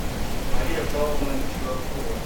мария павловна чуракова